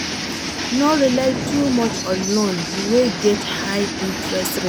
No rely too much on loan wey get high interest rate